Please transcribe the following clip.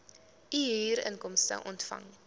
u huurinkomste ontvang